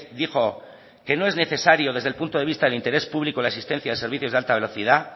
dijo que no es necesario desde el punto de vista de interés público la existencia de servicios de alta velocidad